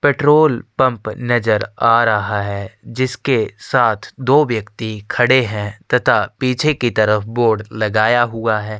Petrol pump नज़र आ रहा है जिसके साथ दो व्यक्ति खड़े है तथा पीछे की तरफ बोर्ड लगाया हुआ है।